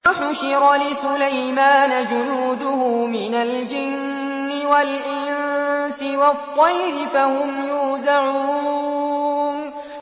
وَحُشِرَ لِسُلَيْمَانَ جُنُودُهُ مِنَ الْجِنِّ وَالْإِنسِ وَالطَّيْرِ فَهُمْ يُوزَعُونَ